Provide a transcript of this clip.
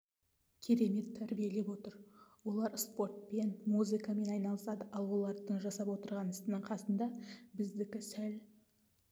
керемет тәрбиелеп отыр олар спортпен музыкамен айналысады ал олардың жасап отырған ісінің қасында біздікі сәл